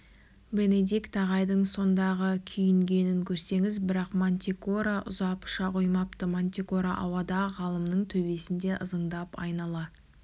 бенедикт ағайдың сондағы күйінгенін көрсеңіз бірақ мантикора ұзап ұша қоймапты мантикора ауада ғалымның төбесінде ызыңдап айнала